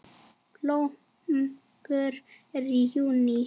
Blómgun er í júlí.